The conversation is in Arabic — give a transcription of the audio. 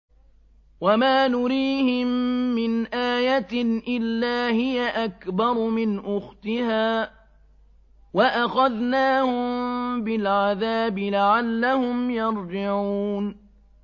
وَمَا نُرِيهِم مِّنْ آيَةٍ إِلَّا هِيَ أَكْبَرُ مِنْ أُخْتِهَا ۖ وَأَخَذْنَاهُم بِالْعَذَابِ لَعَلَّهُمْ يَرْجِعُونَ